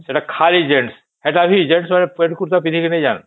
ସେଟା ଖାଲି gents ସେଟା ବି gents ମାନେ ପେଣ୍ଟ ଖୁସା ପିନ୍ଧିକି ନାଇଁ ଜନ